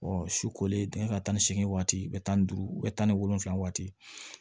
su kolen dingɛ tan ni seegin waati bɛ taa ni duuru bɛ tan ni wolonwula waati